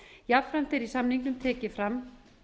jafnframt er í samningnum tekið fram